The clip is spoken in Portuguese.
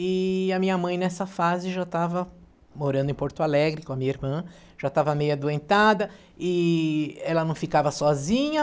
E a minha mãe, nessa fase, já estava morando em Porto Alegre com a minha irmã, já estava meio adoentada, e ela não ficava sozinha.